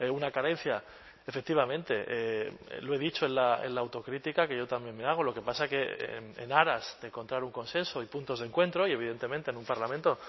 una carencia efectivamente lo he dicho en la autocrítica que yo también me hago lo que pasa es que en aras de encontrar un consenso y puntos de encuentro y evidentemente en un parlamento